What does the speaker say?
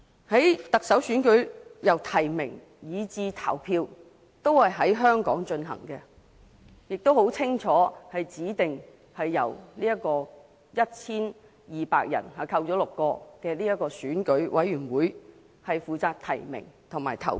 行政長官選舉由提名以至投票都在香港進行，而且清楚指定由 1,200 人組成的選舉委員會負責提名及投票。